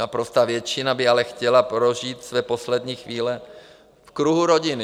Naprostá většina by ale chtěla prožít své poslední chvíle v kruhu rodiny.